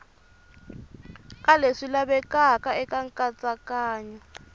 ka leswi lavekaka eka nkatsakanyo